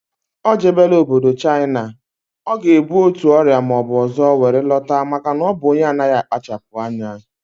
O jebela obodo Chaịna, ọ ga ebu otu ọrịa maọbụ ọzọ were lọta maka na ọ bụ onye na anaghị akpachapughị anya